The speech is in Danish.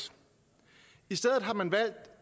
i stedet har man valgt